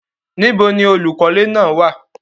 Níbò ni olúkọlẹ̀ náà wá?